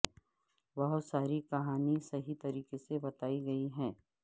بہت ساری کہانی صحیح طریقے سے بتائی گئی ہے